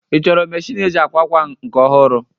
Ị chọrọ meshịn eji akwa akwa nke ọhụrụ?